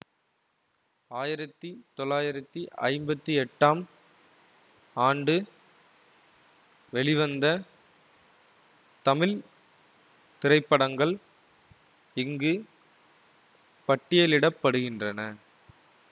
ஆயிரத்தி தொள்ளாயிரத்தி ஐம்பத்தி எட்டாம் ஆண்டு வெளிவந்த தமிழ் திரைப்படங்கள் இங்கு பட்டியலிட படுகின்றன